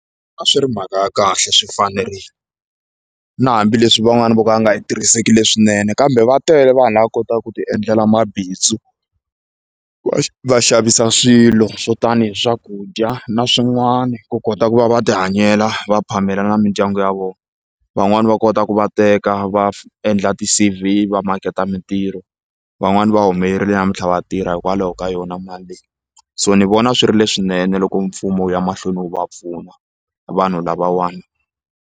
A swi ri mhaka ya kahle swi fanerile na hambileswi van'wana vo ka va nga yi tirhiseki le swinene kambe va tele vanhu lava kotaka ku ti endlela mabindzu va xavisa swilo swo tani hi swakudya na swin'wani ku kota ku va va ti hanyela va phamela na mindyangu ya vona van'wani va kota ku va teka va endla ti-C_V va maketa mintirho van'wani va humelerile namuntlha va tirha hikwalaho ka yona mali leyi so ni vona swi ri leswinene loko mfumo wu ya mahlweni wu va pfuna vanhu lavawani.